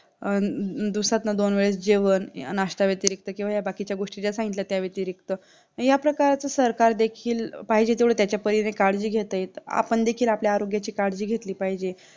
अं दिवसातून दोन वेळा जेवण नाष्टाव्यतिरिक्त किंवा हे बाकीच्या गोष्टीचा सांगितला त्या व्यतिरिक्त या प्रकारच्या सरकार देखील पाहिजे तेवढे त्याच्या परीने काळजी घेताएत आपण देखील आपल्या आरोग्याची काळजी घेतली पाहिजे